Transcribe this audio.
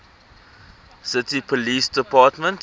city police department